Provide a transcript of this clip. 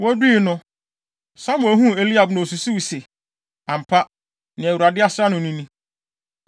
Wodui no, Samuel huu Eliab na osusuwii se, “Ampa, nea Awurade asra no no ni.”